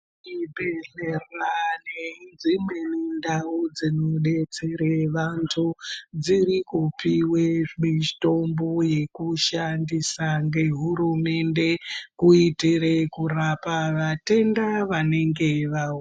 Zvibhedhlera nedzimweniwo ndau dzinodetsere vantu dzirikupiwe mitombo yekushandisa ngehurumende kuitire kurapa vatenda vanenge vauya.